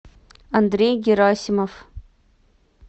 андрей герасимов